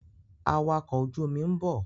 Awakọ̀ ojú omi ń bọ̀.